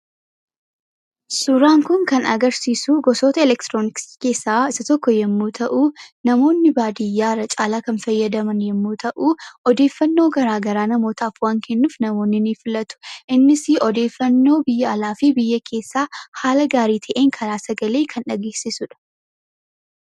Suuraan kun kan agarsiisu gosoota elektirooniksii keessaa isa tokko yommuu ta'u, namoonni baadiyyaa irra caalaa kan fayyadaman yommuu ta'u, odeeffaannoo garaagaraa namootaaf waan kennuuf namoonni ni filatu. Innisi odeeffaannoo biyya alaa fi biyya keessaa haala gaarii ta'een karaa sagalee kan dhageessisu dha.